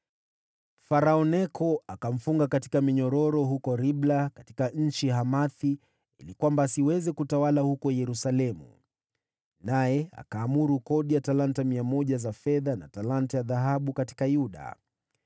Farao Neko akamfunga kwa minyororo huko Ribla katika nchi ya Hamathi ili asiweze kutawala huko Yerusalemu, naye akatoza kodi ya talanta mia moja za fedha, na talanta moja ya dhahabu katika Yuda.